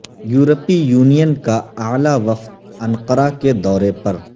یورپی یونین کا اعلی وفد انقرہ کے دورے پر